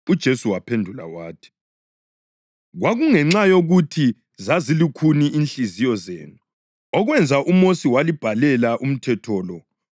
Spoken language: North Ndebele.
UJesu waphendula wathi, “Kwakungenxa yokuthi zazilukhuni inhliziyo zenu okwenza uMosi walibhalela umthetho lo.